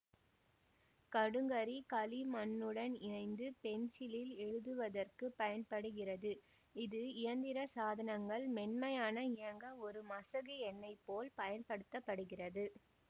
கடுங்கரி களிமண்ணுடன் இணைந்து பென்சிலில் எழுதுவதற்கு பயன்படுகிறது இது இயந்திர சாதனங்கள் மென்மையான இயங்க ஒரு மசகு எண்ணெய் போல் பயன்படுத்த படுகிறது